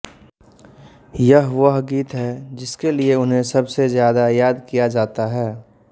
यह वह गीत है जिसके लिए उन्हें सबसे ज्यादा याद किया जाता है